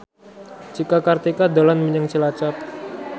Cika Kartika dolan menyang Cilacap